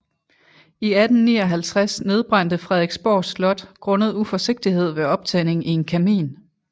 I 1859 nedbrændte Frederiksborg Slot grundet uforsigtighed ved optænding i en kamin